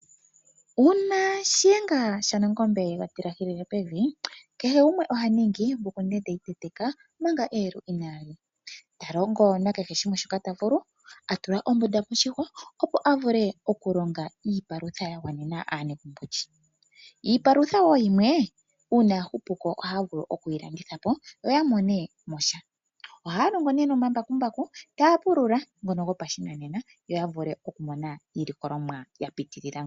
Uuna Shiyenga Shanangombe shega tilahilehi pevi kehe gumwe oha ningi mbuku ndende iteteka Manga eyelu inaa liya talongo nakehe shimwe shoka ta vulu atula ombunda moshihwa opo a vule okulonga iipalutha ya gwanena aanegumbo iipa